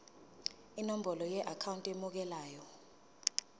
nenombolo yeakhawunti emukelayo